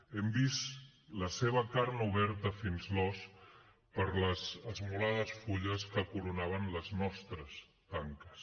hem vist la seva carn oberta fins l’os per les esmolades fulles que coronaven les nostres tanques